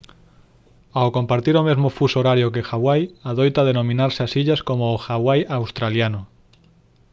ao compartir o mesmo fuso horario que hawai adoita denominarse ás illas como o «hawai australiano»